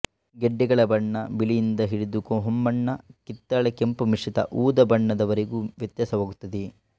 ಗೆಡ್ಡೆಗಳ ಬಣ್ಣ ಬಿಳಿಯಿಂದ ಹಿಡಿದು ಹೊಂಬಣ್ಣ ಕಿತ್ತಳೆ ಕೆಂಪುಮಿಶ್ರಿತ ಊದಾ ಬಣ್ಣದ ವರೆಗೂ ವ್ಯತ್ಯಾಸವಾಗುತ್ತದೆ